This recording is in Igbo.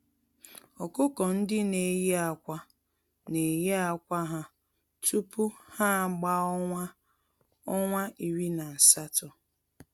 Ọkụkọ-ndị-neyi-ákwà n'eyi ákwà ha tupu ha agbaa ọnwa ọnwa iri na asatọ.